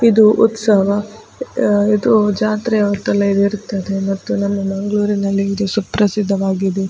ಇದು ಉತ್ಸವ. ಆ ಇದು ಜಾತ್ರೆಯ ಹೊತ್ತಲ್ಲಿ ಇರುತ್ತದೆ ಮತ್ತು ನಮ್ಮ ಮಂಗ್ಳೂರಿನಲ್ಲಿ ಇದು ಸುಪ್ರಸಿದ್ಧವಾಗಿದೆ.